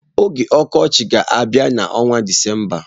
Oge ọkọchị ga-abịa n'ọnwa Disemba.